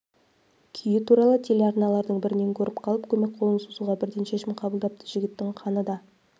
күйі туралы телеарналардың бірінен көріп қалып көмек қолын созуға бірден шешім қабылдапты жігіттің қаны да